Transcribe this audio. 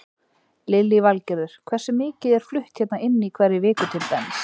Lillý Valgerður: Hversu mikið er flutt hérna inn í hverri viku til dæmis?